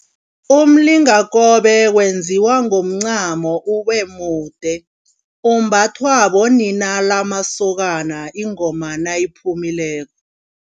Umlingakobe wenziwa ngomncamo ubemude. Umbathwa bonina lamasokana ingoma nayiphumileko.